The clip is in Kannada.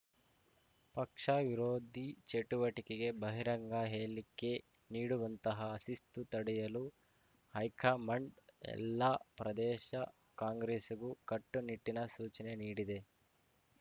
ಪಕ್ಷ ವಿರೋಧಿ ಚಟುವಟಿಕೆಗೆ ಬಹಿರಂಗ ಹೇಳಿಕೆ ನೀಡುವಂತಹ ಶಿಸ್ತು ತಡೆಯಲು ಹೈಕಮಾಂಡ್‌ ಎಲ್ಲಾ ಪ್ರದೇಶ ಕಾಂಗ್ರೆಸ್‌ಗೂ ಕಟ್ಟುನಿಟ್ಟಿನ ಸೂಚನೆ ನೀಡಿದೆ